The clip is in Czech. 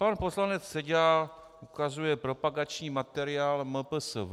Pan poslanec Seďa ukazuje propagační materiál MPSV.